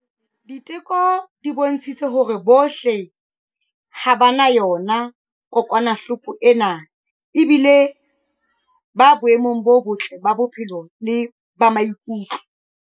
Diteko di bontshitse hore bohle ha ba na yona kokwanahloko ena ebile ba boemong bo botle ba bophelo le ba maikutlo.